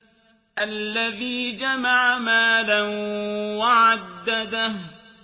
الَّذِي جَمَعَ مَالًا وَعَدَّدَهُ